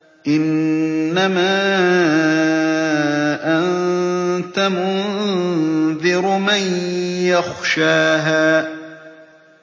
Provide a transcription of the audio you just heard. إِنَّمَا أَنتَ مُنذِرُ مَن يَخْشَاهَا